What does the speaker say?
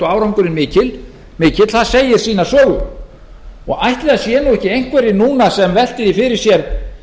árangurinn mikill það segir sína sögu og ætli það séu nú einhverjir núna sem velti því fyrir sér